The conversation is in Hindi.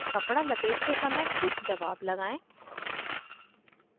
कपडा लपेटते समय कुछ दबाव लगाएं